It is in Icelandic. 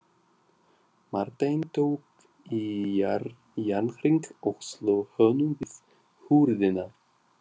Marteinn tók í járnhring og sló honum við hurðina.